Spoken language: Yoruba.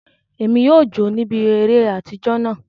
Emi yóò jo níbi eré atijọ náà.